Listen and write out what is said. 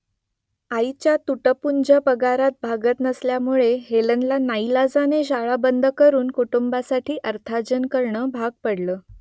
आईच्या तुटपुंज्या पगारात भागत नसल्यामुळे हेलनला नाईलाजाने शाळा बंद करून कुटुंबासाठी अर्थार्जन करणं भाग पडलं